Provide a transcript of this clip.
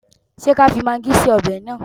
Ṣé kí á fi magí sí ọbẹ̀ náà?